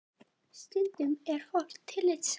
Stundum er fólk tillitssamt